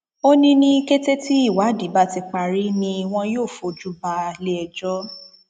ó ní ní kété tí ìwádìí bá ti parí ni wọn yóò fojú balẹẹjọ